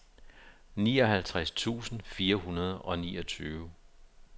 nioghalvtreds tusind fire hundrede og niogtyve